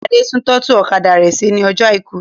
Adé tún tọ́tù ọ̀kadà rẹ ṣe ní ọjọ̀ àìkú.